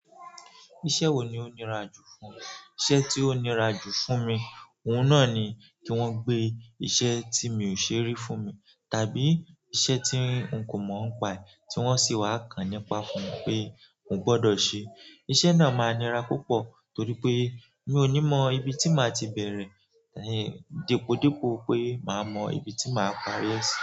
Iṣẹ́ wo ni ó nira jù fún ẹ? Iṣẹ́ tí ó nira jù fún mi, òun náà ni kí wọ́n gbé iṣẹ́ tí mi ò ṣe rí fún mi, tàbí iṣẹ́ tí n kò mọ̀ ọ́n pa ẹ tí wọ́n sì wá kan nípa fún mi pé mo gbọ́dọ̀ ṣe. Iṣẹ́ náà máa nira púpọ̀ torí pé mi ò ní mọ ibi tí màá ti bẹ̀rẹ̀, depòdepò pé màá mọ ibi tí màá parí ẹ̀ sí.